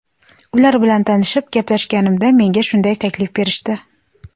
Ular bilan tanishib, gaplashganimda menga shunday taklif berishdi.